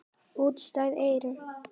Útstæð eyru.